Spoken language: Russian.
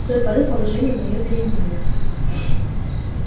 с той поры положение моё переменилось